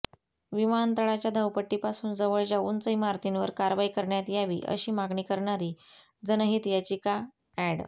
विमानतळाच्या धावपट्टीपासून जवळच्या उंच इमारतींवर कारवाई करण्यात यावी अशी मागणी करणारी जनहित याचिका अॅड